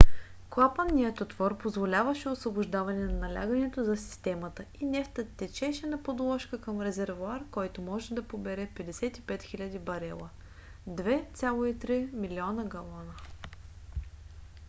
клапанният отвор позволяваше освобождаване на налягането за системата и нефтът течеше на подложка към резервоар който може да побере 55 000 барела 2,3 милиона галона